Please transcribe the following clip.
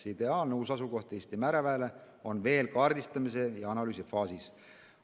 Ideaalne uus asukoht Eesti mereväele on veel kaardistamise ja analüüsi faasis.